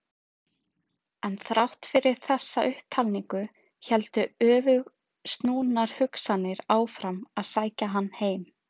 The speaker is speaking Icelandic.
En þrátt fyrir þessa upptalningu héldu öfugsnúnar hugsanir áfram að sækja hann heim.